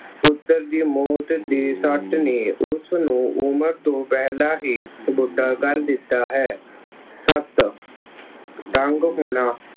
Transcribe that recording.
ਪੁੱਤਰ ਦੀ ਮੌਤ ਦੀ ਸੱਟ ਨੇ ਉਸਨੂੰ ਉਮਰ ਤੋਂ ਪਹਿਲਾਂ ਹੀ ਬੁੱਢਾ ਕਰ ਦਿੱਤਾ ਹੈ। ਸੱਤ ਤੰਗ ਹੋਣਾ